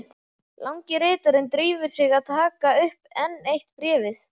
Langi ritarinn drífur sig að taka upp enn eitt bréfið.